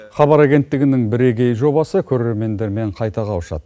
хабар агенттігінің бірегей жобасы көрермендермен қайта қауышады